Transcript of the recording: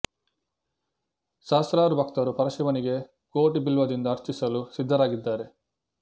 ಸಹಸ್ರಾರು ಭಕ್ತರು ಪರ ಶಿವನಿಗೆ ಕೋಟಿ ಬಿಲ್ವದಿಂದ ಅರ್ಚಿಸಲು ಸಿದ್ದರಾಗಿದ್ದಾರೆ